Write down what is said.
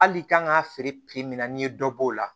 Hali kan k'a feere pipiniyɛri dɔ b'o la